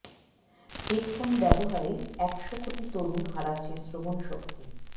headphone ব্যবহারে এক শ কোটি তরুণ হারাচ্ছে শ্রবণ শক্তি